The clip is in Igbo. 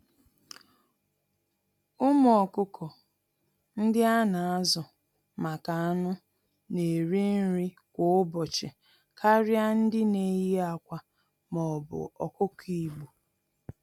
Ụmụ ọkụkọ ndị ana-azu-maka-anụ̀ n'eri nri kwá ụbọchị karịa ndị neyi ákwà m'obu ọkụkọ Igbo.